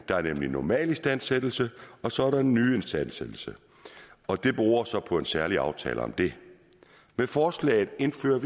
der er nemlig normal istandsættelse og så er der nyistandsættelse og det beror så på en særlig aftale om det med forslaget indføres